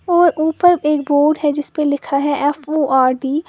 और ऊपर एक बोर्ड है जिस पे लिखा है एफओआरडी ।